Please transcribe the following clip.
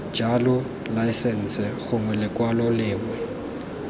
jalo laesense gongwe lekwalo lengwe